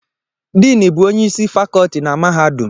Diinu bu onye isi fakọọti na mahadum.